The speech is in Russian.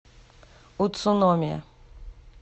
уцуномия